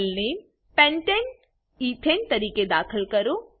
file name pentane ethane તરીકે દાખલ કરો